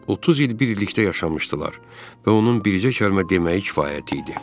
30 il birlikdə yaşamışdılar və onun bircə kəlmə deməyi kifayət idi.